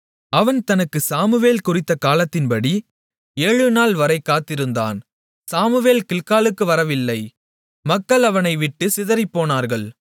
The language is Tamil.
அவன் தனக்குச் சாமுவேல் குறித்தகாலத்தின்படி ஏழுநாள்வரை காத்திருந்தான் சாமுவேல் கில்காலுக்கு வரவில்லை மக்கள் அவனை விட்டுச் சிதறிப்போனார்கள்